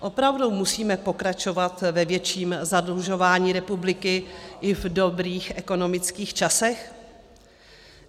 Opravdu musíme pokračovat ve větším zadlužování republiky i v dobrých ekonomických časech?